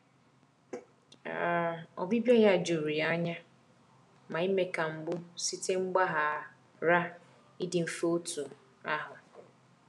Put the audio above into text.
um Ọbịbịa ya jụrụ ya anya, ma ime ka mgbu site mgbagha ghara ịdị mfe otu ahụ.